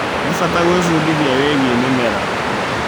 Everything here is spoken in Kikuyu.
Nĩ bata gwĩbundithia wĩgie mĩmera.